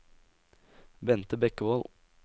Bente Bekkevold